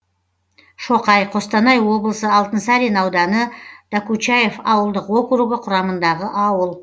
шоқай қостанай облысы алтынсарин ауданы докучаев ауылдық округі құрамындағы ауыл